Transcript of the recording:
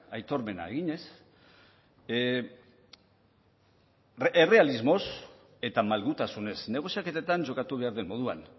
aitormena eginez errealismoz eta malgutasunez negoziaketetan jokatu behar den moduan